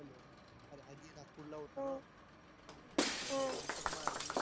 अरे आजी नागपूर ला उरते तेव्हा माया जवळ